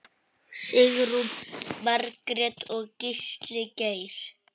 Sigrún Margrét og Gísli Geir.